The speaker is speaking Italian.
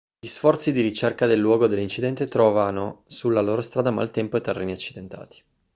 gli sforzi di ricerca del luogo dell'incidente trovano sulla loro strada maltempo e terreni accidentati